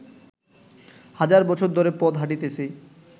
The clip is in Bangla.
হাজার বছর ধরে পথ হাঁটিতেছি